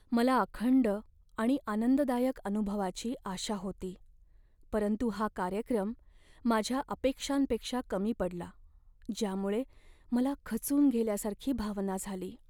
मला अखंड आणि आनंददायक अनुभवाची आशा होती, परंतु हा कार्यक्रम माझ्या अपेक्षांपेक्षा कमी पडला, ज्यामुळे मला खचून गेल्यासारखी भावना झाली.